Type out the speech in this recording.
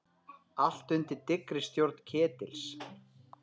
Allt undir dyggri stjórn Ketils.